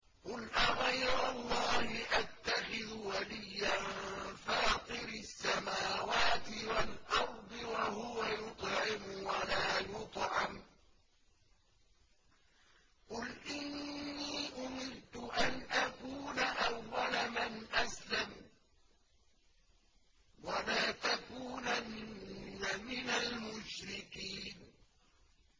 قُلْ أَغَيْرَ اللَّهِ أَتَّخِذُ وَلِيًّا فَاطِرِ السَّمَاوَاتِ وَالْأَرْضِ وَهُوَ يُطْعِمُ وَلَا يُطْعَمُ ۗ قُلْ إِنِّي أُمِرْتُ أَنْ أَكُونَ أَوَّلَ مَنْ أَسْلَمَ ۖ وَلَا تَكُونَنَّ مِنَ الْمُشْرِكِينَ